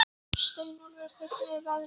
Steinólfur, hvernig er veðrið úti?